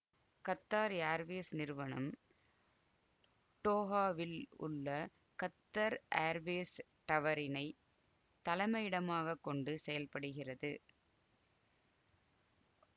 Qatar Airways நிறுவனம் டோஹாவில் உள்ள கத்தர் ஏர்வேஸ் டவரினை தலைமையிடமாக கொண்டு செயல்படுகிறது